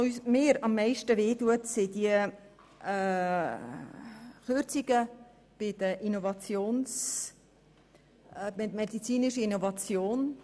Was mir am meisten wehtut, sind die Kürzungen bei der medizinischen Innovation.